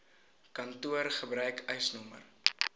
kantoor gebruik eisnr